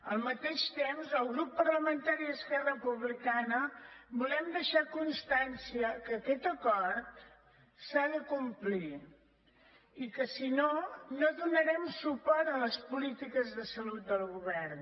al mateix temps el grup parlamentari d’esquerra republicana volem deixar constància que aquest acord s’ha de complir i que si no no donarem suport a les polítiques de salut del govern